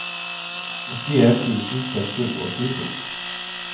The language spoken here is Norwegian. åttien tusen seks hundre og tjueto